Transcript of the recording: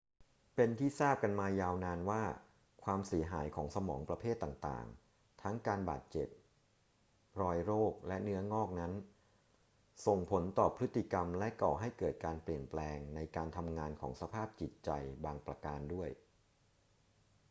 เป็นที่ทราบกันมายาวนานว่า ความเสียหายของสมองประเภทต่าง ๆ ทั้งการบาดเจ็บ รอยโรค และเนื้องอกนั้น ส่งผลต่อพฤติกรรมและก่อให้เกิดการเปลี่ยนแปลงในการทำงานของสภาพจิตใจบางประการด้วย